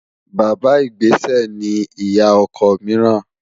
Bàbá ìgbésẹ̀ ni ìyá ọkọ míìràn